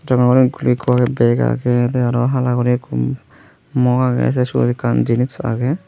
ekkuori bag agey tey aro hala guri mok agey tey syot ekkan jinish agey.